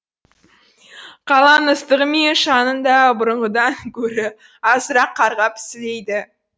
қаланың ыстығы мен шаңын да бұрынғыдан көрі азырақ қарғап сілейді